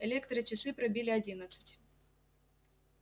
электрочасы пробили одиннадцать